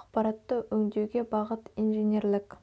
ақпараттарды өңдеуге бағыт инженерлік